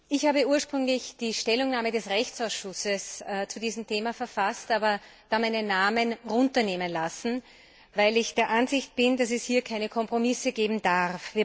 Ich habe ursprünglich die Stellungnahme des Rechtsausschusses zu diesem Thema verfasst, dann aber meinen Namen streichen lassen, weil ich der Ansicht bin, dass es hier keine Kompromisse geben darf.